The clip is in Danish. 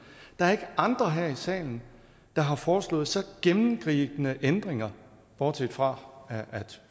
der er ikke andre her i salen der har foreslået så gennemgribende ændringer bortset fra